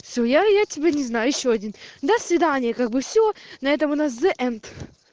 все я я тебя не знаю ещё один до свидания как бы все на этом у нас зэ энд